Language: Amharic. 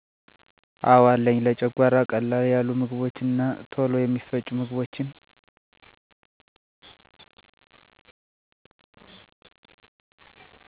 አዎ አለኝ , ለጨጓራ ቀለል ያሉ ምግቦች እና ቶሎ የሚፈጩ ምግቦችን